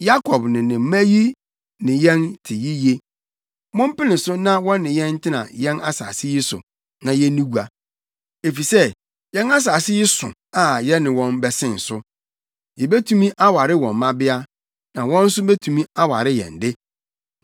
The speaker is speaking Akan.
“Yakob ne ne mma yi ne yɛn te yiye. Mompene so na wɔne yɛn ntena yɛn asase yi so, na yenni gua. Efisɛ yɛn asase yi so a yɛne wɔn bɛsen so. Yebetumi aware wɔn mmabea, na wɔn nso betumi aware yɛn de.